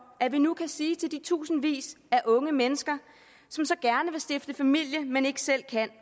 at vi nu kan sige til de tusindvis af unge mennesker som så gerne vil stifte familie men ikke selv kan